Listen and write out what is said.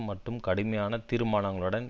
மட்டும் கடுமையான தீர்மானங்களுடன்